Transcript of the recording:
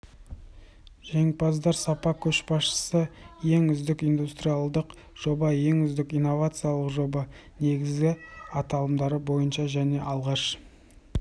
жеңімпаздар сапа көшбасшысы ең үздік индустриалдық жоба ең үздік инновациялық жоба негізгі аталымдары бойынша және алғаш